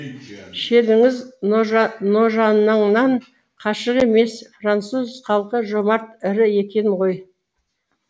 шелліңіз ножаныңнан қашық емес француз халқы жомарт ірі екен ғой